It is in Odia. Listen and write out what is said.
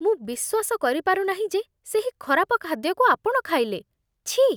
ମୁଁ ବିଶ୍ୱାସ କରିପାରୁ ନାହିଁ ଯେ ସେହି ଖରାପ ଖାଦ୍ୟକୁ ଆପଣ ଖାଇଲେ। ଛିଃ!